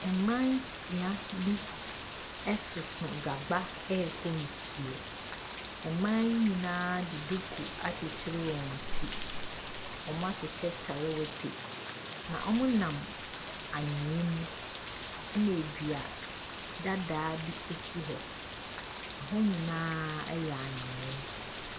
Mmaa nsia bi soso grawa ɛrekɔ nsuo. Mmaa yi nyinaa de duku akyekyere wɔn ti, wɔahyehyɛ kyalawete. Wɔnam anwea mu na dua dadaa bi nso si hɔ. Hɔ nyinaa yɛ anwea.